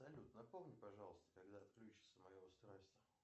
салют напомни пожалуйста когда отключится мое устройство